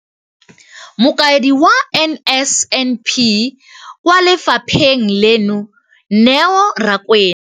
Mokaedi wa NSNP kwa lefapheng leno, Neo Rakwena,